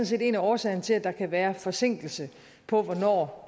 set en af årsagerne til at der kan være forsinkelse på hvornår